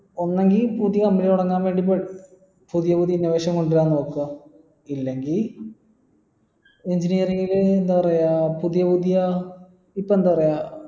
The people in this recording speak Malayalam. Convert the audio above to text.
ഒന്നെങ്കി പുതിയ company തുടങ്ങാൻ വേണ്ടി പ പുതിയ പുതിയ innovations കൊണ്ടുവരാൻ നോക്ക ഇല്ലെങ്കി engineering ൽ എന്താ പറയാ പുതിയ പുതിയ ഇപ്പൊ എന്താ പറയാ